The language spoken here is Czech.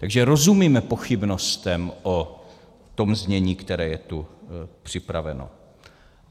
Takže rozumíme pochybnostem o tom znění, které je tu připraveno.